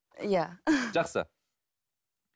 иә жақсы